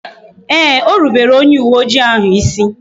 Ee, e rubere m onye uwe oji ahu isi